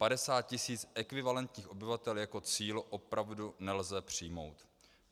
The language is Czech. Padesát tisíc ekvivalentních obyvatel jako cíl opravdu nelze přijmout.